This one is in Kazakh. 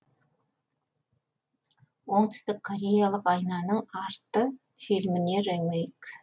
оңтүстік кореялық айнаның арты фильміне ремейк